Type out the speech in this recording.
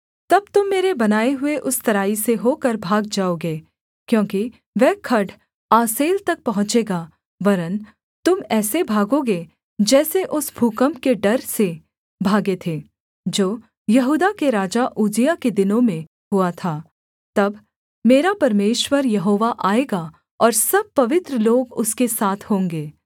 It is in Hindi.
तब तुम मेरे बनाए हुए उस तराई से होकर भाग जाओगे क्योंकि वह खड्ड आसेल तक पहुँचेगा वरन् तुम ऐसे भागोगे जैसे उस भूकम्प के डर से भागे थे जो यहूदा के राजा उज्जियाह के दिनों में हुआ था तब मेरा परमेश्वर यहोवा आएगा और सब पवित्र लोग उसके साथ होंगे